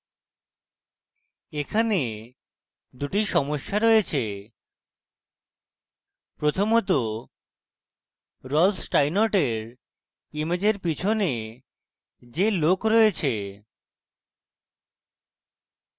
এখানে দুটি সমস্যা রয়েছে প্রথমত রল্ফ স্টাইনর্টের ইমেজের পিছনে যে লোক রয়েছে